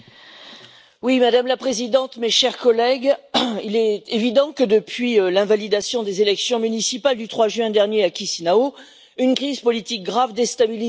Madame la Présidente, mes chers collègues, il est évident que depuis l'invalidation des élections municipales du 3 juin dernier à Chisinau, une crise politique grave déstabilise la Moldavie.